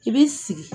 I b'i sigi